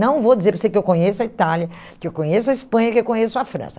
Não vou dizer para você que eu conheço a Itália, que eu conheço a Espanha, que eu conheço a França.